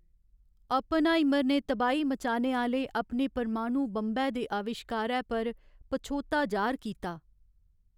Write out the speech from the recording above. Oppenheimer ने तबाही मचाने आह्‌ले अपने परमाणु बंबै दे अविश्कारै पर पच्छोताऽ जाह्‌र कीता ।